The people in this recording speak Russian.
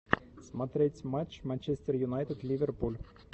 смотреть матч манчестер юнайтед ливерпуль